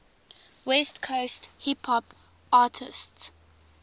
west coast hip hop artists